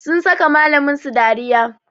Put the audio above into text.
Sun saka malamin su dariya